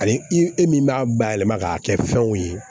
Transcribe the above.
Ani i min b'a bayɛlɛma k'a kɛ fɛnw ye